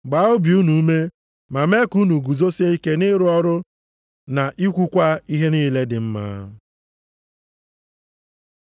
gbaa obi unu ume, ma mee ka unu guzosie ike nʼịrụ ọrụ na ikwukwa ihe niile dị mma.